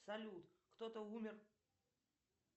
салют кто то умер